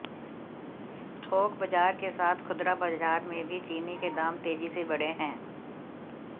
थोक बाजार के साथ खुदरा बाजार में भी चीनी के दाम तेजी से बढ़े हैं